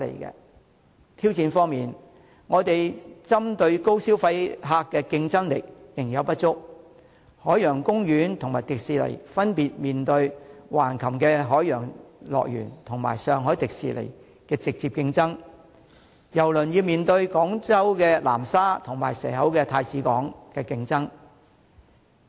在挑戰方面，我們針對高消費旅客的競爭力仍有不足，海洋公園及香港迪士尼樂園分別面對橫琴海洋樂園及上海迪士尼樂園的直接競爭，郵輪則面對廣州南沙及蛇口太子灣的競爭。